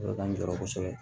k'an jɔyɔrɔ kosɛbɛ